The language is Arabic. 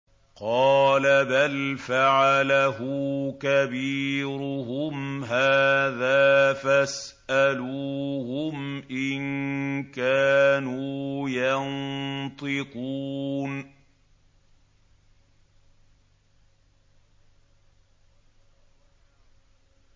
قَالَ بَلْ فَعَلَهُ كَبِيرُهُمْ هَٰذَا فَاسْأَلُوهُمْ إِن كَانُوا يَنطِقُونَ